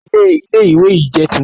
Ilé Ilé ìwé yìí jẹ́ tuntun